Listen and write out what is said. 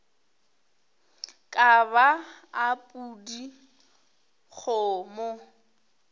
ka ba a pudi kgomo